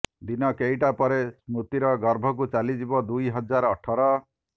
ଦିନ କେଇଟା ପରେ ସ୍ମୃତିର ଗର୍ଭକୁ ଚାଲିଯିବ ଦୁଇହଜାର ଅଠର